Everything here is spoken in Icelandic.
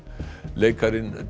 leikarinn